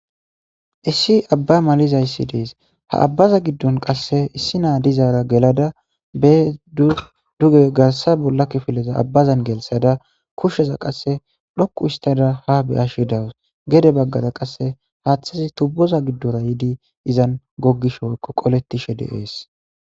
issi abba malizayssi dees ha abbaza giddon qasse issi naa dizaara gelada be dduge garsa bolla kifileza abbazan gelsada kushsheza qasse dhoku istada ha be7ashshi dawus gede baggada qasse haaththasi tubboza giddora yiidi izan goggish woykko qolettishe deees